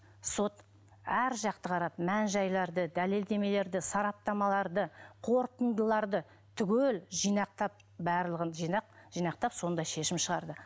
сот әр жақты қарады мән жәйларды дәлелдемелерді сараптамаларды қортындыларды түгел жинақтап барлығын жинап жинақтап сондай шешім шығарды